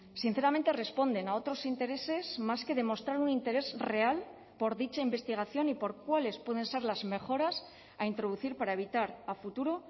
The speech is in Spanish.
sinceramente responden a otros intereses más que demostrar un interés real por dicha investigación y por cuáles pueden ser las mejoras a introducir para evitar a futuro